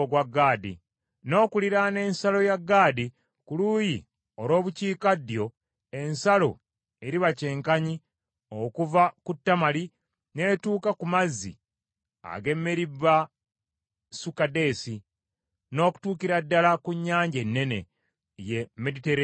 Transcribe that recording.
N’okuliraana ensalo ya Gaadi ku luuyi olw’Obukiikaddyo, ensalo eriba kyenkanyi okuva ku Tamali n’etuuka ku mazzi ag’e Meribasukadeesi, n’okutuukira ddala ku Nnyanja Ennene, ye Meditereniyaani.